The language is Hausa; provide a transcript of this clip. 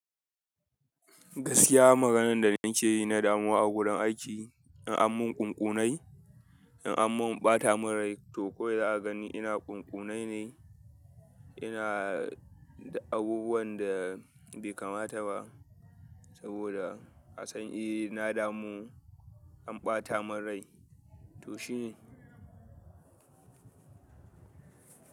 Gaskiya maganan da nake yi na dan uwa a gurin aiki in an mun ƙunƙunai, in an mun ɓata mun rai to ko wai za a gani ina ƙunƙunai ne, ina duk abubuwan da bai kamata ba saboda asan eh na damu an ɓata mun rai to shine.